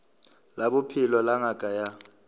la bophelo la ngaka ya